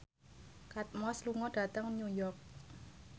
Kate Moss lunga dhateng New York